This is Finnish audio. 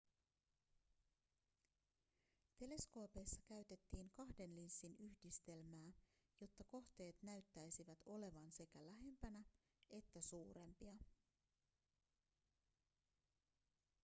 teleskoopeissa käytettiin kahden linssin yhdistelmää jotta kohteet näyttäisivät olevan sekä lähempänä että suurempia